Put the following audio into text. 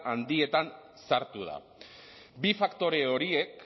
handietan sartu da bi faktore horiek